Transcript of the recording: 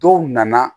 Dɔw nana